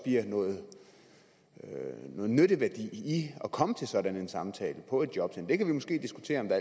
noget nytteværdi i at komme til sådan en samtale på et jobcenter det kan vi måske diskutere om der